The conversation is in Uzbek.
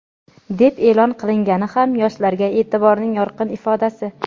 deb e’lon qilingani ham yoshlarga e’tiborning yorqin ifodasi.